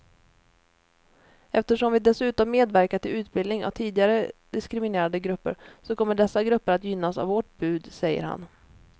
Eftersom vi dessutom medverkar till utbildning av tidigare diskriminerade grupper så kommer dessa grupper att gynnas av vårt bud, säger han.